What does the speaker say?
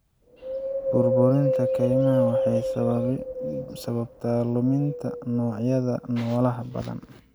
Burburinta kaymaha waxay sababtaa luminta noocyada noolaha badan.